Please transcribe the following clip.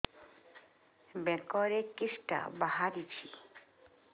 ବେକରେ କିଶଟା ବାହାରିଛି